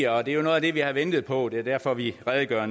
og det er jo noget af det vi har ventet på og det er derfor vi redegør